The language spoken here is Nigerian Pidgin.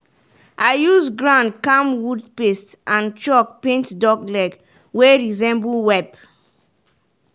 i use ground camwood paste and chalk paint duck leg wey resemble web.